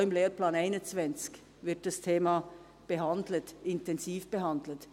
Auch im Lehrplan 21 wird dieses Thema intensiv behandelt.